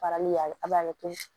Farali y'a a b'a kɛ